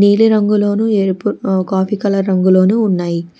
నీలి రంగులోను ఎరుపు ఉ కాఫీ కలర్ రంగులోను ఉన్నాయి.